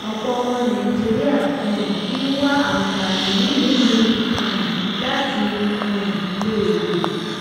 ọpọ ọmọ nàìjíríà um ń wá àǹfààní nílùú míì um láti um lè yè